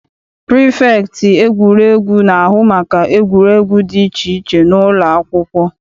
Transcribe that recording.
Prifektị egwuregwu na-ahụ maka egwuregwu dị iche iche n'ụlọakwụkwọ.